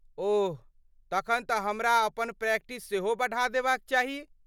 ओह ,तखन तँ हमरा अपन प्रैक्टिस सेहो बढ़ा देबाक चाही।